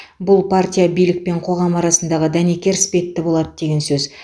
бұл партия билік пен қоғам арасындағы дәнекер іспетті болады деген сөз